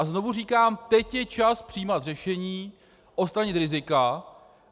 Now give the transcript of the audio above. A znovu říkám - teď je čas přijímat řešení, odstranit rizika.